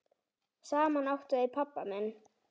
Saman áttu þau pabba minn.